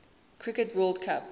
cricket world cup